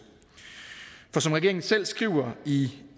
for som regeringen selv skriver i